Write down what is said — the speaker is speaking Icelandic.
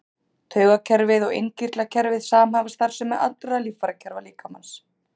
Taugakerfið og innkirtlakerfið samhæfa starfsemi allra líffærakerfa líkamans.